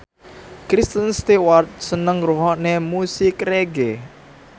Kristen Stewart seneng ngrungokne musik reggae